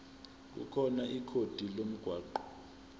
khona ikhodi lomgwaqo